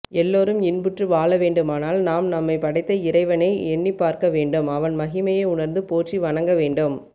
எல்லோரும் இன்புற்று வாழவேண்டுமானால் நாம் நம்மைப்படைத்த இறைவனை எண்ணிப் பார்க்கவேண்டும் அவன் மகிமையை உணர்ந்து போற்றி வணங்கவேண்டும்